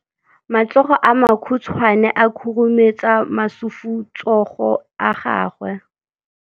Matsogo a makhutshwane a khurumetsa masufutsogo a gago.